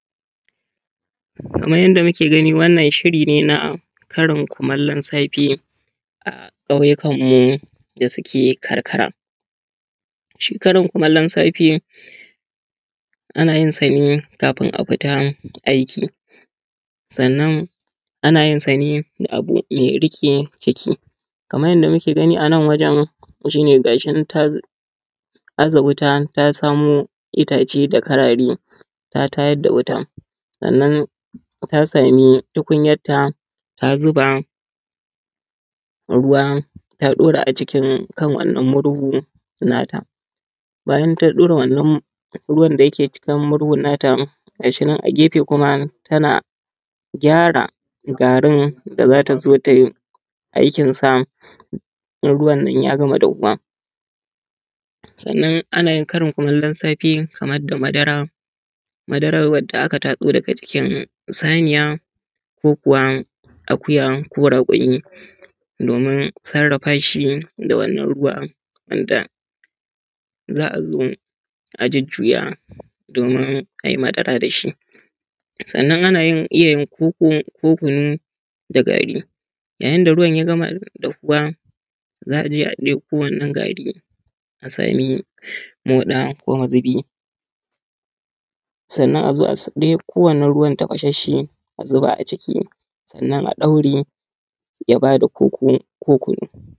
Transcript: Kamar yanda muke gani wannan shiri ne na karin kumulon safe a ƙauyikan mu da suke karkara. Shi karin kumulon safe ana yin sa ne kafin a fita aiki, sannan ana yin sa ne da abu mai riƙe ciki. Kamar yanda muke gani a nan wajan shi ne gashi nan ta aza wuta ta samo itace da kararai ta tayar da wuta, sannan ta samu tukunyan ta ta zuba ruwa, ta ɗaura a jikin kan wannan murhu nata. Bayan ta ɗaura wannan ruwan da yake jikin murhun na ta gashi nan a gefe kuma tana gyara garin da za ta zo tai aikin sa in ruwan ya gama dahuwa. Sannan ana yin karin kumulon safe kamar da madara, madaran wanda aka tatso daga jikin Saniya, ko kuwa akuya, ko raƙumi domin sarafa shi da wannan ruwa, wanda za a zo a jujjuya domin a yi madara da shi. Sannan ana iya yin koko ko kunu da gari yayin da ruwan ya gama dahuwa za a je a ɗauko wannan gari a sami moɗa ko mazubi sannan a zo a ɗauko wannan ruwan tafashashe a zuba a ciki, sannan a ɗaure ya ba da koko ko kunu.